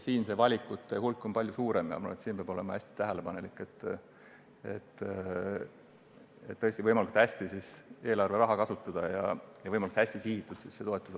Siin on valikute hulk palju suurem ja ma arvan, et peab olema väga tähelepanelik, et eelarveraha võimalikult hästi kasutada ja seda toetust võimalikult hästi suunata.